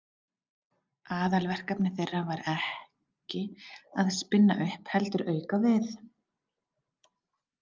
Aðalverkefni þeirra var ekki að spinna upp heldur auka við.